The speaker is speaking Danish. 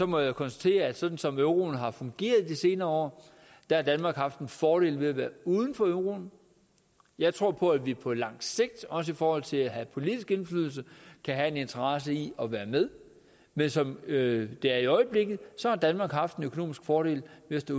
må jeg konstatere at sådan som euroen har fungeret i de senere år har danmark haft en fordel ved at være uden for euroen jeg tror på at vi på lang sigt også i forhold til at have politisk indflydelse kan have en interesse i at være med men som det er i øjeblikket har danmark haft en økonomisk fordel ved